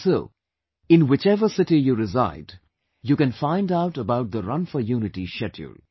And so, in whichever city you reside, you can find out about the 'Run for Unity' schedule